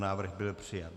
Návrh byl přijat.